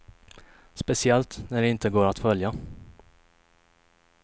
Speciellt när de inte går att följa.